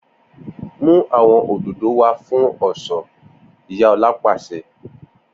Mu awọn ódódò wá fun ọṣọ Iya Ola paṣẹ!